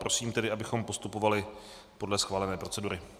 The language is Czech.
Prosím tedy, abychom postupovali podle schválené procedury.